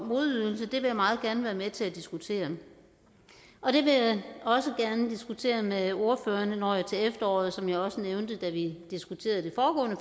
modydelse vil jeg meget gerne være med til at diskutere og det vil jeg også gerne diskutere med ordførerne når jeg til efteråret som jeg også nævnte da vi diskuterede det